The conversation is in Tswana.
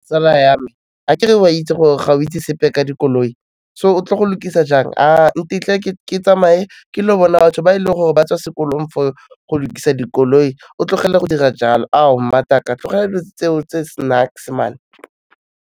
Tsala ya me, akere o a itse gore ga o itse sepe ka dikoloi, so o tlo go lukisa jang, ntetle ke tsamaye, ke lo bona batho ba e leng gore ba tswa sekolong fo ho lokisa dikoloi, o tlogela go dira jalo, ao mmataka tlogela dilo tseo tse .